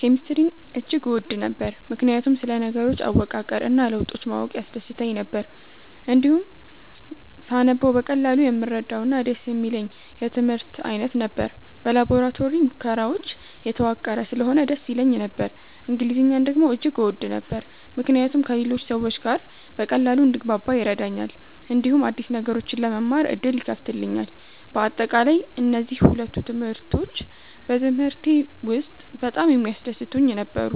ኬሚስትሪን እጅግ እወድ ነበር፣ ምክንያቱም ስለ ነገሮች አወቃቀር እና ለውጦች ማወቅ ያስደስተኝ ነበር። እንዲሁም ሳነበው በቀላሉ የምረዳውና ደስ የሚለኝ የትምህርት አይነት ነበር። በላቦራቶሪ ሙከራዎች የተዋቀረ ስለሆነ ደስ ይለኝ ነበር። እንግሊዝኛን ደግሞ እጅግ እወድ ነበር፣ ምክንያቱም ከሌሎች ሰዎች ጋር በቀላሉ እንድግባባ ይረዳኛል፣ እንዲሁም አዲስ ነገሮችን ለመማር ዕድል ይከፍትልኛል። በአጠቃላይ፣ እነዚህ ሁለቱ ትምህርቶች በትምህርቴ ውስጥ በጣም የሚያስደስቱኝ ነበሩ።